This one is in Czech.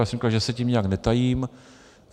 Já jsem říkal, že se tím nijak netajím.